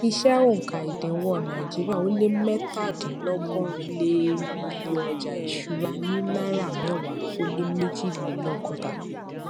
iṣẹ oùnka ìdíwọn náírà ó lé mẹtàdinlọgọrin lé è rí iye ọjà ìṣúra ní náírà mẹwa ó lé méjilelọgọta